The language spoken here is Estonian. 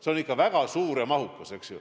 See on ikka väga suur ja mahukas, eks ju.